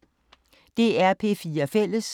DR P4 Fælles